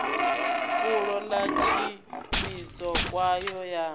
fulo ḽa tshumiso kwayo ya